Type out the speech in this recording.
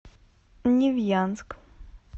невьянск